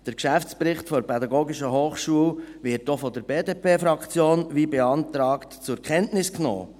Der Geschäftsbericht der PH wird auch durch die BDP-Fraktion wie beantragt zur Kenntnis genommen.